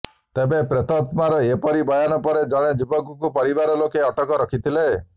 ତେବେ ପ୍ରେତାତ୍ମାର ଏପରି ବୟାନ ପରେ ଜଣେ ଯୁବକକୁ ପରିବାର ଲୋକେ ଅଟକ ରଖିଥିଲେ